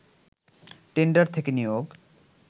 tender থেকে নিয়োগ